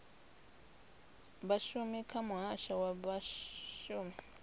vhashumi kha muhasho wa vhashumi